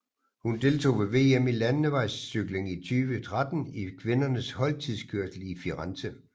Hun deltog ved VM i landevejscykling 2013 i kvindernes holdtidskørsel i Firenze